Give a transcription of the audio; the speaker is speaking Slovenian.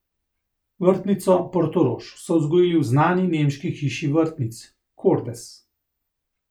Vrtnico Portorož so vzgojili v znani nemški hiši vrtnic Kordes.